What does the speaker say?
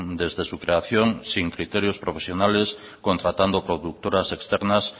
desde su creación sin criterio profesionales contratando productoras externas